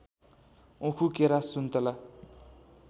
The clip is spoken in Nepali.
उखु केरा सुन्तला